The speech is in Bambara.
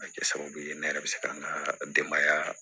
A bɛ kɛ sababu ye ne yɛrɛ bɛ se ka n ka denbaya